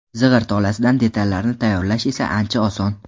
Zig‘ir tolasidan detallarni tayyorlash esa ancha oson.